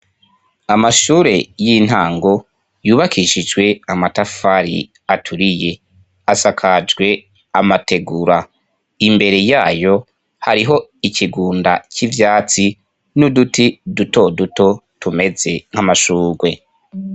Amashure y'intango yubakishijwe amatafari aturiye asakajwe amategura imbere yayo hariho ikigunda c'ivyatsi n'uduti dutoduto tumeze nk'amashurwe.